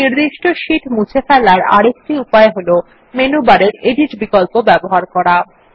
একটি নির্দিষ্ট শীট মুছে ফেলার আরেকটি উপায় হল মেনু বারের এডিট বিকল্প ব্যবহার করা